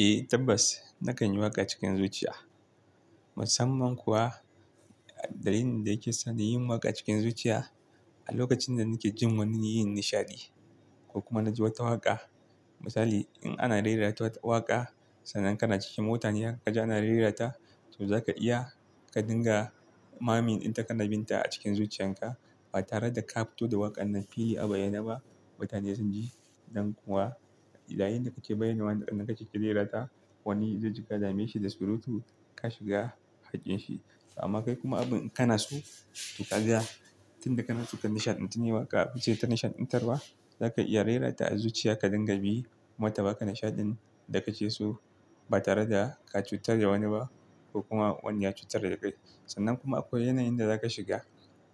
Eh tabbas nakan yi waƙa cikin zuciya. Musamman kuwa dalilin da yake sa na yi waƙa cikin zuciya a lokacin da nake jin wani yin nishaɗi ko kuma na ji wata waƙa. Misali in ana rera wata waƙa sannan kana cikin mutane kaga ana rereta to za ka iya ka dinga mamin inta kana bin ta a cikin zuciyarka ba tare da ka fito da waƙar nan fili a bayyane ba. Mutane sun ji nan kuwa da yayinda kake bayyanawa inda kake kirera ta wani zai jiƙa damashi da surutu ka shiga hakƙinshi. Amma kai kuma abun kana so ka ga tunda kana so ka nishaɗantu ne waƙa ba ce ta nishaɗantarwa. Zaka iya rera ta a zuciya ka dinga bi mutane ba ka nishaɗin da kake so ba tare da ka cutar da wani ba ko kuma wani ya cutar da kai. Sannan kuma akwai yanayin da zaka shiga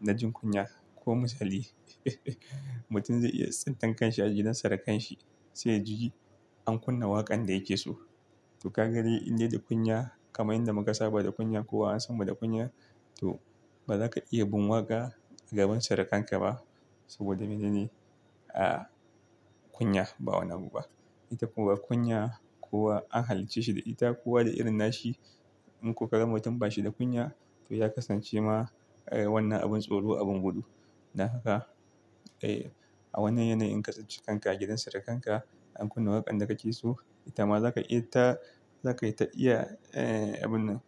na jin kunya. Ko misali mutum zai iya tsintankan shi a gidan surukan shi sai yaji an kunna waƙan da yake so to ka ga dai indai da kunya kamar inda muka saba da kunya kowa an sanmu da kunya to bazaka iya bin waƙa a gaban surukan ka ba saboda mene ne? A kunya ba wani abu ba. Ita kuma kunya kuwa an halicce shi da ita ko kowa da irin nashi in kuka ga mutum bashi da kunya to ya kasance ma wannan abin tsoro abin gudu. Dan haka e a wannan yanayi in ka tafi kanka a gidan surukan ka an kunna waƙan da ka ke so, ita ma za ka iya ta za ka yi ta iya abun nan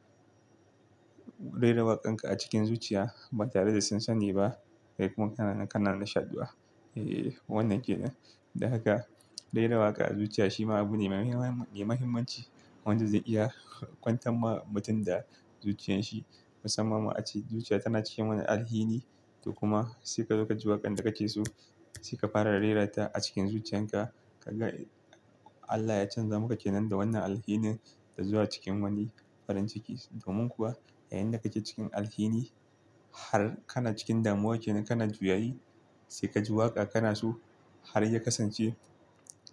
rera waƙan ka a cikin zuciya ba tare da sun sani ba. Kai kuma kana nan kana nishaɗuwa. E wannan ke nan. Dan haka dai rera waƙa a zuciya shi ma abu ne mai mahimmanci wanda zai iya kwantar ma mutum da zuciyan shi. Musamman ma ace zuciya tana cikin wani alhini to kuma sai ka zo ka ji waƙan da ka ke so sai ka fara rera ta a cikin zuciyan ka. Ka ga Allah ya canza maka ke nan da wannan alhinin da zuwa cikin wani farin ciki. Domin kuwa yayinda kake cikin alhini har kana cikin damuwa kenan kana juyayi sai ka ji waƙa kana so har ya kasance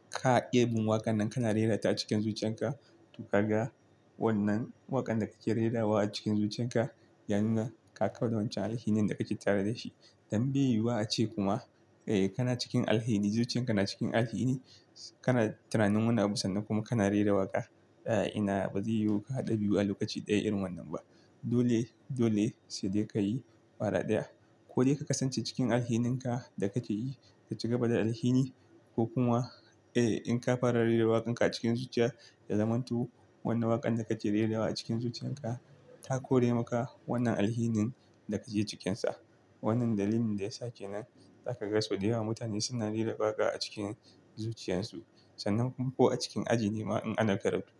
ka ƙi abin waƙan nan kana rera ta cikin zuciyan ka to ka ga wannan waƙan da kake rerawa a cikin zuciyan ka ya nuna ka kauda wancan alhinin da kake tare da shi. Don beyuwa a ce kuma e kana cikin alhini zuciyan kana cikin alhini kana tunanin wani abu sannan kuma kana rera waƙa. E ina bazai yiwu ka haɗa biyu a lokaci ɗaya irin wannan ba. Dole dole sai dai ka yi fara ɗaya ko dai ka kasance cikin alhininka da kake yi ka ci gaba da alhini ko kuma e in ka fara rera waƙan ka a cikin zuciya da zamanto wannan waƙan da kake rerawa a cikin zuciyan ka ta kore maka wannan alhinin da kake ciƙinsa. Wannan dalilin da ya sa kenan za ka ga sau da yawa mutane suna rera waƙa a cikin zuciyansu sannan kuma ko a cikin aji nema in ana karatu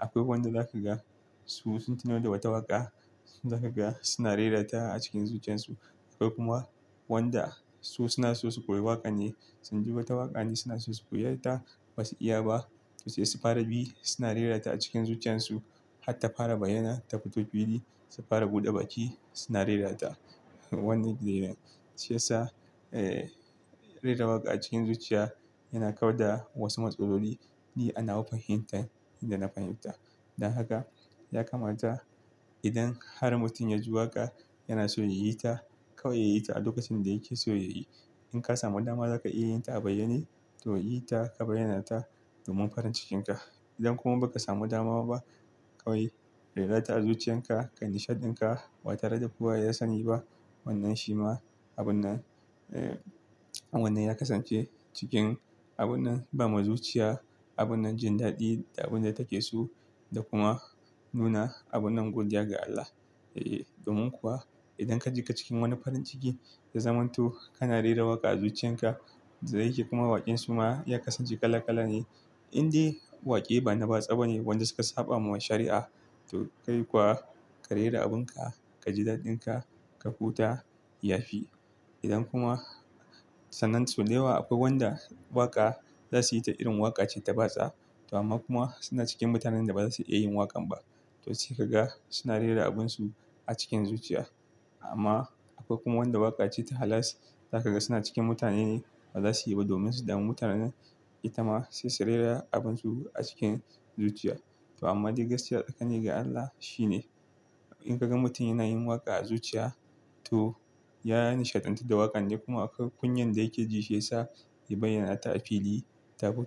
akwai wanda za ka ga su sun tuno da wata waƙa za ka ga suna rera ta a cikin zuciyansu. Akwai kuma wanda su suna so su koyi waƙan ne sun ji wata waƙa ne suna so su koyi ta basu iya ba to sai su fara bi suna rera ta a cikin zuciyansu. Hatta fara bayyana ta fito fili su fara buɗe bakin suna rera ta. Wannan kenan shi yasa rera waƙa cikin zuciya yana kauda wasu matsaloli ni anawa fahintan inda na fahimta. Dan haka ya kamata idan har mutum ya ji waƙa yana so ya yi ta kawai ya yi ta a lokacin da yake so ya yi. In ka samu dama za ka iya yin ta a bayyane to yi ta ka bayyana ta domin farin cikinka. Idan kuma ba ka samu dama ba kawai rera ta a zuciyan ka kan nishaɗin ka ba tare da kowa ya sani ba. Wannan shi ma abun nan e wannan ya kasance cikin abun banba zuciya, abun jin daɗi da abun da take so da kuma nuna abun godiya ga Allah. E domin kuwa idan ka ji ka cikin wani farin ciki da zamantu kana rera waƙa a zuciyan ka da yake kuma waƙen suma ya kasance kala kala ne indai waƙe ba na batsa bane wanda suka saba ma shari'a to kai kuwa ka rera abin ka, ka ji daɗin ka, ka huta ya fi. Idan kuma sannan sau da yawa akwai wanda waƙa za su yi ta irin waƙa ce ta batsa to amma kuma suna cikin mutanen da baza su iya yin waƙan ba to sai ka ga suna rera abinsu a cikin zuciya. Amma akwai kuma wanda waƙa ce ta halas za ka ga suna cikin mutane ne bazasu yi ba domin su damu mutane ne. Ita ma sai su rera abinsu a cikin zuciya. To amma dai gaskiya tsakani ga Allah shine in ka ga mutum yana yin waƙa a zuciya to ya nishaɗantu da waƙanne kuma akwai kunyar da yake ji shi yasa ya bayyana ta fili ta fito.